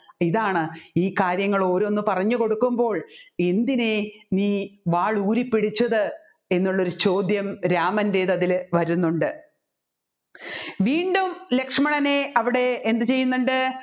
ഇതാണ് ഈ കാര്യങ്ങൾ ഓരോന്നു പറഞ്ഞുകൊടുക്കുമ്പോൾ എന്തിനെ നീ വാൾ ഊരിപിടിച്ചത് എന്നുള്ളൊരു ചോദ്യം രാമൻറ്റെത്ത് അതിൽ വരുന്നുണ്ട് വീണ്ടും ലക്ഷ്മണനെ അവിടെ എന്ത് ചെയ്യുന്നുണ്ട്